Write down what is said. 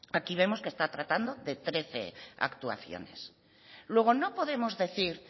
aquí vemos que está tratando de trece actuaciones luego no podemos decir